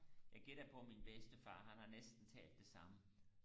jeg gætter på at min bedstefar han har næsten talt det samme